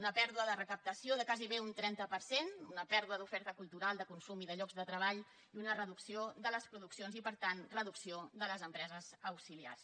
una pèrdua de recaptació de gairebé un trenta per cent una pèrdua d’oferta cultural de consum i de llocs de treball i una reducció de les produccions i per tant reducció de les empreses auxiliars